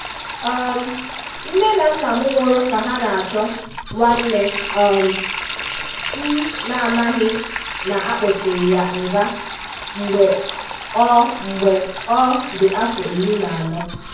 um Nne na nna m nwụrụ ka ha na-achọ nwanne um m na-amaghị na a kpọchiri ya nga mgbe ọ mgbe ọ dị afọ ịrị na anọ